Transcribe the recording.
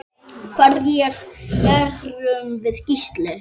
Hverjir erum við Gísli?